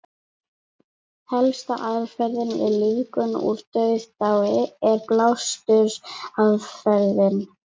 Helsta aðferðin við lífgun úr dauðadái er blástursaðferðin.